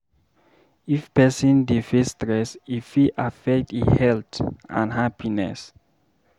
If person dey face stress, e fit affect e health and happiness.